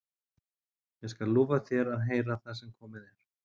En ég skal lofa þér að heyra það sem komið er.